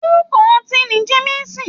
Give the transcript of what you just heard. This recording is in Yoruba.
Orúkọ ọtí ni Jemisin.